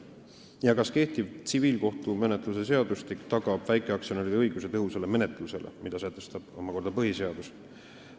Teiseks küsite, kas kehtiv tsiviilkohtumenetluse seadustik tagab väikeaktsionäridele õiguse tõhusale menetlusele, mida ka omakorda sätestab põhiseadus.